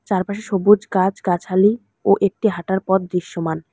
চারপাশে সবুজ গাছ গাছালি ও একটি হাঁটার পথ দৃশ্যমান।